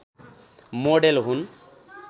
model हुन